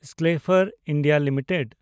ᱥᱠᱮᱞᱮᱯᱷᱟᱨ India limited